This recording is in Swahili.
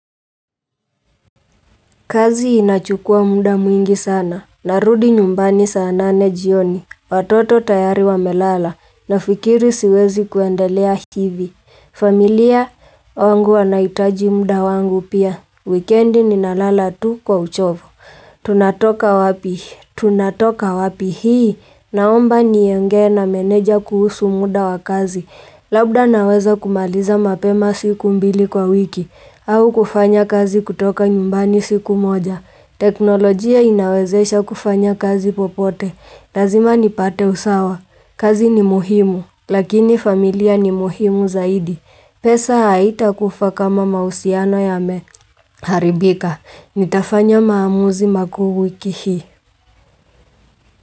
Kazi inachukua muda mwingi sana. Narudi nyumbani saa nane jioni. Watoto tayari wamelala. Nafikiri siwezi kuendelea hivi. Familia yangu wanahitaji muda wangu pia. Wikendi ninalala tu kwa uchovu. Tunatoka wapi? Tunatoka wapi hii? Naomba niongee na meneja kuhusu muda wa kazi. Labda naweza kumaliza mapema siku mbili kwa wiki, au kufanya kazi kutoka nyumbani siku moja. Teknolojia inawezesha kufanya kazi popote. Lazima nipate usawa. Kazi ni muhimu. Lakini familia ni muhimu zaidi. Pesa haitakufaa kama mahusiano yameharibika. Nitafanya maamuzi makuu wiki hii.